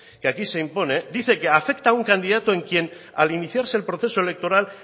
que aquí se impone dice que afecta a un candidato en quien al iniciarse el proceso electoral